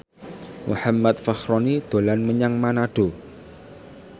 Muhammad Fachroni dolan menyang Manado